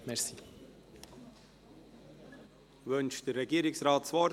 Wünscht der Regierungsrat das Wort?